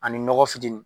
Ani nɔgɔ fitini